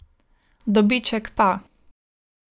Dobiček pa ...